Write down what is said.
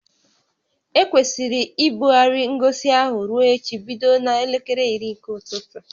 Ekwesịrị ibugharị ngosi ahụ ruo echi bido n'elekere iri nke ụtụtụ